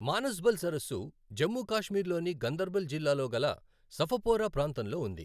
మానస్ బల్ సరస్సు జమ్మూ కాశ్మీర్ లోని గందర్బల్ జిల్లాలో గల సఫపోరా ప్రాంతంలో ఉంది.